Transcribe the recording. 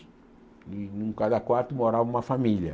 e em cada quarto morava uma família.